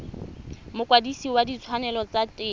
mokwadise wa ditshwanelo tsa temo